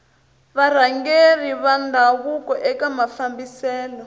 varhangeri va ndhavuko eka mafambiselo